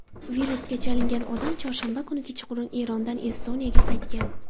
Virusga chalingan odam chorshanba kuni kechqurun Erondan Estoniyaga qaytgan.